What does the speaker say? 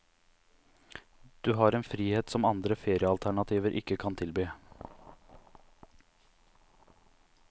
Du har en frihet som andre feriealternativer ikke kan tilby.